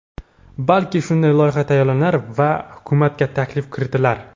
Balki, shunday loyiha tayyorlanar va hukumatga taklif kiritilar.